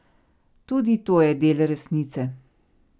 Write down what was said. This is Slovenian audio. Tudi to je del resnice.